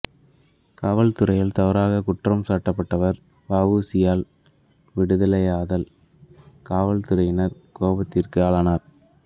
காவல் துறையினரால் தவறாகக் குற்றம் சாட்டப்பட்டவர்கள் வ உ சி யினால் விடுதலையானதால் காவல் துறையினரின் கோபத்திற்கு ஆளானார்